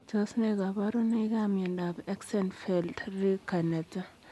Tos ne kabarunoik ap miondoop Axenfeld Rieker netai?